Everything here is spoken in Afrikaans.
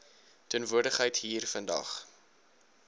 teenwoordigheid hier vandag